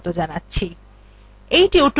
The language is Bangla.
in tutorialwe আমরা শিখব